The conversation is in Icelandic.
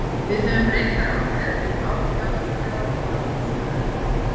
Við höfum reyndar átt erfitt ár fjárhagslega og af ýmsum öðrum ástæðum.